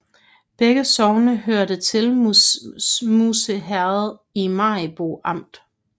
Begge sogne hørte til Musse Herred i Maribo Amt